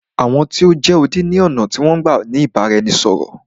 Àwọn tí o jẹ́ odi ni ọ̀nà tí wọn n gbá ni ìbáraẹnisọ̀rọ̀.